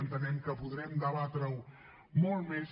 entenem que podrem debatre ho molt més